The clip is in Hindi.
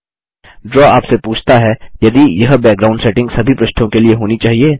ड्रा आपसे पूछता है यदि यह बैकग्राउंड सेटिंग सभी पृष्ठों के लिए होनी चाहिए